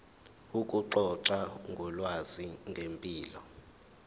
ukuxoxa ngolwazi ngempilo